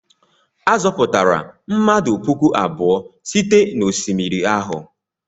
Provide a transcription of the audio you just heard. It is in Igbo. A zọpụtara mmadụ puku abụọ site n'osimiri ahụ.